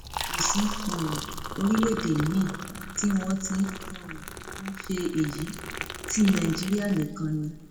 kò sí um orílẹèdè miín tí wọn ti um ń ṣe èyí tí nàìjíríà nìkan ni